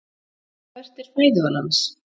Hvert er fæðuval hans?